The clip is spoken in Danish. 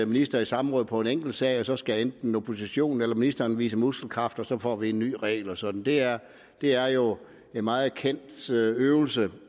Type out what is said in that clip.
minister i samråd på en enkeltsag så skal enten oppositionen eller ministeren vise muskelkraft og så får vi en ny regel og sådan det er det er jo en meget kendt øvelse øvelse